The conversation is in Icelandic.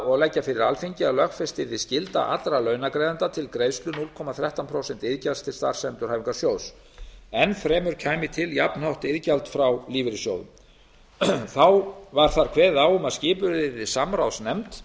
og leggja fyrir alþingi að lögfest yrði skylda allra launagreiðenda til greiðslu núll komma þrettán prósent iðgjalds til starfsendurhæfingarsjóðs enn fremur kæmi til jafnhátt iðgjald frá lífeyrissjóðunum þá var þar kveðið á um að skipuð yrði samráðsnefnd